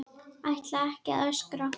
Ætla ekki að öskra.